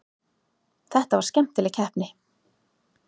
Þetta var skemmtileg keppni.